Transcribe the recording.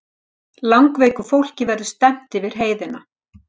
Langveiku fólki verði stefnt yfir heiðina